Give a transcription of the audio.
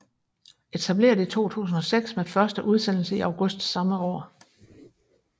Etableret i 2006 med første udsendelse i august samme år